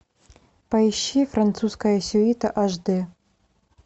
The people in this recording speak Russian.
поищи французская сюита аш д